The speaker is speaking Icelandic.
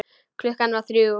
Klukkan var þrjú.